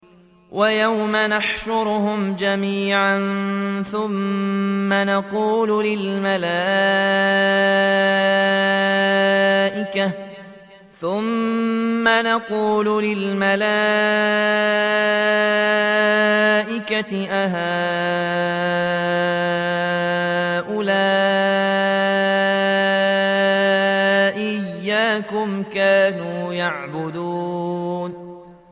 وَيَوْمَ يَحْشُرُهُمْ جَمِيعًا ثُمَّ يَقُولُ لِلْمَلَائِكَةِ أَهَٰؤُلَاءِ إِيَّاكُمْ كَانُوا يَعْبُدُونَ